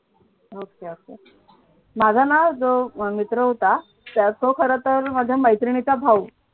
ok ok माझा ना जो मित्र होता तो खरंतर माझ्या मैत्रिणीचा भाऊ.